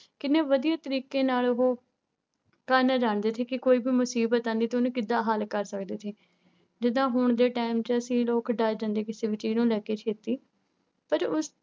ਕਿੰਨੇ ਵਧੀਆ ਤਰੀਕੇ ਨਾਲ ਉਹ ਕਰਨਾ ਜਾਣਦੇ ਸੀ ਕਿ ਕੋਈ ਵੀ ਮੁਸੀਬਤ ਆਉਂਦੀ ਤਾਂ ਉਹਨੂੰ ਕਿੱਦਾਂ ਹੱਲ ਕਰ ਸਕਦੇ ਸੀ, ਜਿੱਦਾਂ ਹੁਣ ਦੇ time ਚ ਅਸੀਂ ਲੋਕ ਡਰ ਜਾਂਦੇ ਕਿਸੇ ਵੀ ਚੀਜ਼ ਨੂੰ ਲੈ ਕੇ ਛੇਤੀ ਪਰ ਉਸ